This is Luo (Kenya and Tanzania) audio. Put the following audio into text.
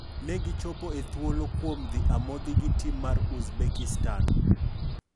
Ne gi chopo e thuolo kuom dhi amodhi gi tim mar Uzbekistan.